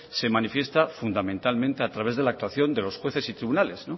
se manifiesta fundamentalmente a través de la actuación de los jueces y tribunales